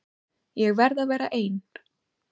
Ég verð að vera ein.